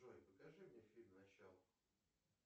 джой покажи мне фильм начало